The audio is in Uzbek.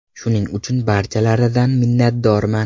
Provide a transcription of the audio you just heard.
Shuning uchun barchalaridan minnatdorman.